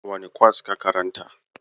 Wane kwas ka karanta?